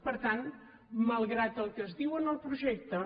per tant malgrat el que es diu en el projecte